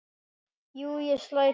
Jú, ég slæ til